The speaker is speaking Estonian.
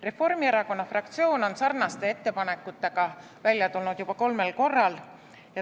Reformierakonna fraktsioon on sarnaste ettepanekutega välja tulnud juba kolmel korral.